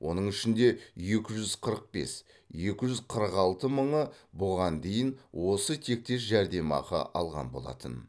оның ішінде екі жүз қырық бес екі жүз қырық алты мыңы бұған дейін осы тектес жәрдемақы алған болатын